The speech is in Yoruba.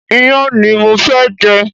Iyán ni mo fẹ́ jẹ